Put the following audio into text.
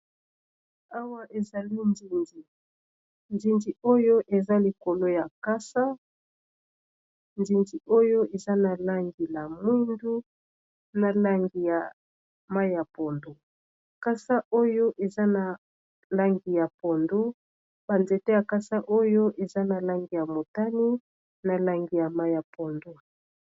awa ezali nzinzi oyo eza likolo ya likasa nzinzi oyo eza na langi ya moindu na langi ya mai ya pondu kasiboyo eza na langi ya pondu banzete ya kasa oyo eza na langi ya motani na langi ya mai ya pondu.